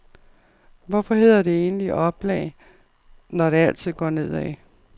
Hvorfor hedder det egentlig op lag, når det altid går ned ad?